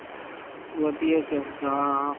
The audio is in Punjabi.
ਵਧੀਆ ਚਾਹੀਦਾ।